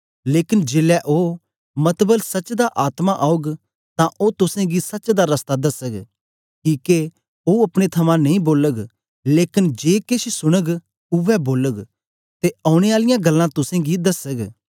लेकन जेलै ओ मतबल सच्च दा आत्मा औग तां ओ तुसेंगी सच दा रस्ता दसग किके ओ अपने थमां नेई बोलग लेकन जे केछ सुनग उवै बोलग ते औने आलियां गल्लां तुसेंगी दसग